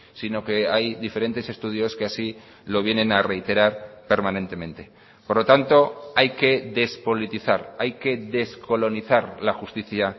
sino que hay diferentes estudios que así lo vienen a reiterar permanentemente por lo tanto hay que despolitizar hay que descolonizar la justicia